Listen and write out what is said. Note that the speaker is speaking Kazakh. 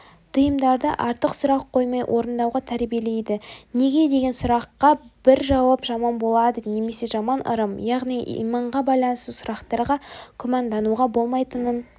тиымдарды артық сұрақ қоймай орындауға тәрбиелейді неге деген сұраққа бір жауап жаман болады немесе жаман ырым яғни иманға байланысты сұрақтарға күмәндануға болмайтынын